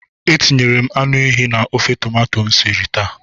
Etinyere m anụ ehi na ofe tomato m siri taa.